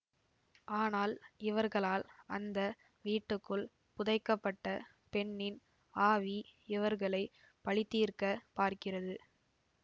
ஆனால் இவர்களால் அந்த வீட்டுக்குள் புதைக்கப்பட்ட பெண்ணின் ஆவி இவர்களை பழிதீர்க்க பார்க்கிறது